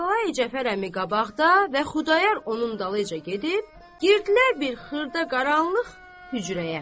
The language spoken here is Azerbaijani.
Kərbəlayi Cəfər əmi qabaqda və Xudayar onun dalıyca gedib, girdilər bir xırda qaranlıq hücrəyə.